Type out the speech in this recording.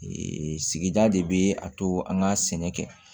sigida de bɛ a to an ka sɛnɛ kɛ